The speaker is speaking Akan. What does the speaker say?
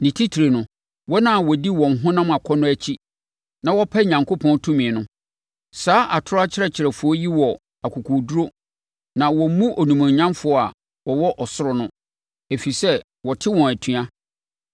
ne titire no, wɔn a wɔdi wɔn honam akɔnnɔ akyi na wɔpa Onyankopɔn tumi no. Saa atorɔ akyerɛkyerɛfoɔ yi wɔ akokoɔduru na wɔmmu animuonyamfoɔ a wɔwɔ ɔsoro no, ɛfiri sɛ, wɔte wɔn atua.